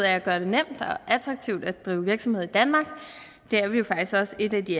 at gøre det nemt og attraktivt at drive virksomhed i danmark det er vi jo faktisk også et af de